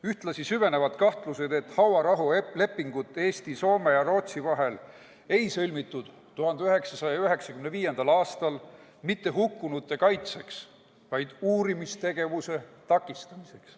Ühtlasi süvenevad kahtlused, et hauarahulepingut Eesti, Soome ja Rootsi vahel ei sõlmitud 1995. aastal mitte hukkunute kaitseks, vaid uurimistegevuse takistamiseks.